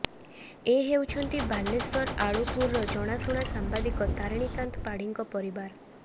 ଏ ହେଉଛନ୍ତି ବାଲେଶ୍ୱର ଆଳୁପୁରର ଜଣାଶୁଣା ସାମ୍ବାଦିକ ତାରିଣୀକାନ୍ତ ପାଢୀଙ୍କ ପରିବାର